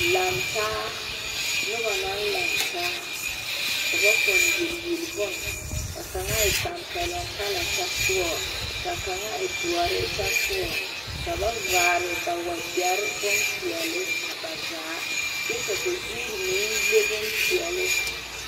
Laŋe taa noba naŋ laŋtaa ka ba ponne yeli yeli bon ka kaŋa waa ŋa tampɛloŋ kyɛ sɔɔ ka kaŋa e doɔre. kyɛ sɔɔ ka ba vaare ba wagyɛre bon pɛɛle a ba zaakyɛ ka ba zuri meŋ leŋ bon pɛɛle.